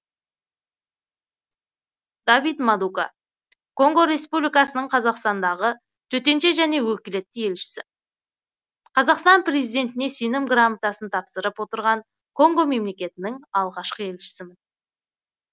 давид мадука конго республикасының қазақстандағы төтенше және өкілетті елшісі қазақстан президентіне сенім грамотасын тапсырып отырған конго мемлекетінің алғашқы елшісімін